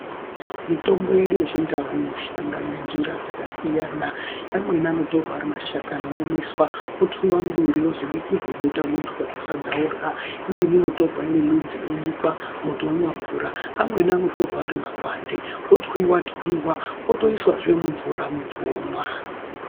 Mitombo yedu yechindau inoshanda ngenjira dzakasiyana amweni anotorwa ari mashakani oomeswa otwiwa muduri ozobikirwe bota muntu kasadza orya imweni inotorwa iri midzi yonyikwa muntu omwe mvura amweni anotorwa ari makwande otwiwa twiwa otoiswazve mumvura muntu omwa.